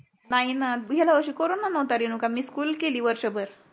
नाही ना गेल्या वर्षी corona नव्हता रेणुका मी स्कुल केली वर्षभर